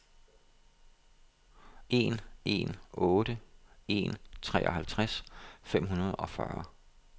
en en otte en treoghalvtreds fem hundrede og fyrre